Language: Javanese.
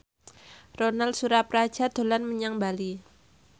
Ronal Surapradja dolan menyang Bali